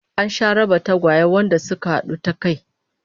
An sha raba tagwaye wanda suka hadu ta kai